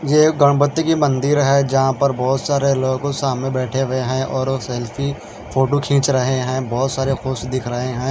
ये गणपति की मंदिर है यहां पर बहुत सारे लोगों सामने बैठे हुए हैं और वो सेल्फी फोटो खींच रहे हैं बहुत सारे खुश दिख रहे हैं।